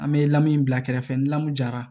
An bɛ lamun in bila kɛrɛfɛ ni lamɔ jara